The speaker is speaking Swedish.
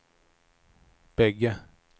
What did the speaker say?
bägge